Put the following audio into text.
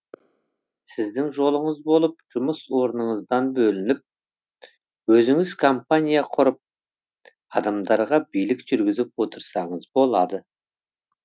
сіздің жолыңыз болып жұмыс орныңыздан бөлініп өзіңіз компания құрып адамдарға билік жүргізіп отырсаңыз болады